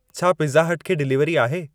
छा Pizza Hut खे delivery आहे